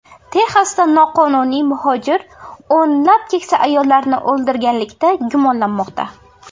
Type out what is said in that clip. Texasda noqonuniy muhojir o‘nlab keksa ayollarni o‘ldirganlikda gumonlanmoqda.